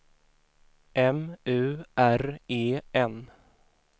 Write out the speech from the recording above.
M U R E N